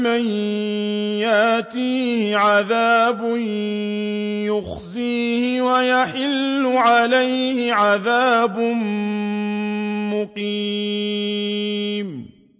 مَن يَأْتِيهِ عَذَابٌ يُخْزِيهِ وَيَحِلُّ عَلَيْهِ عَذَابٌ مُّقِيمٌ